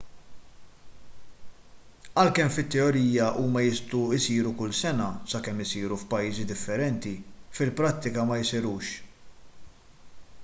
għalkemm fit-teorija huma jistgħu jsiru kull sena sakemm isiru f'pajjiżi differenti fil-prattika ma jsirux